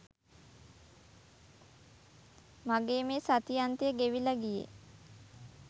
මගේ මේ සති අන්තය ගෙවිලා ගියේ.